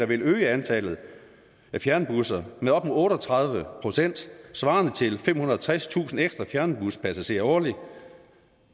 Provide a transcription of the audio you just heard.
vil øge antallet af fjernbusrejser med op mod otte og tredive procent svarende til femhundrede og tredstusind ekstra fjernbuspassagerer årligt